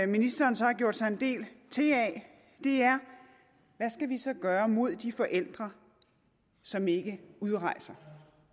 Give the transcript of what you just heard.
ministeren så har gjort sig en del til af er hvad skal vi så gøre mod de forældre som ikke udrejser